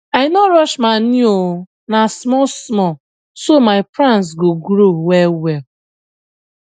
i no rush manure oo na small small so my plants go grow well well